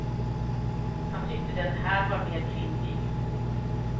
Han tyckte den här var mer kvinnlig.